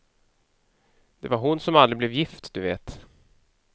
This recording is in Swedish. Det var hon som aldrig blev gift, du vet.